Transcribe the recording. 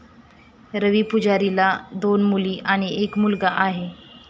रवी पुजारीला दोन मुली आणि एक मुलगा आहे.